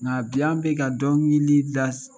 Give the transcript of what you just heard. Nka bi an bɛ ka dɔnkilida